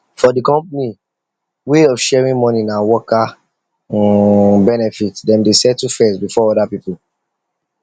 for the company way of sharing money na worker benefit dem dey settle first before other people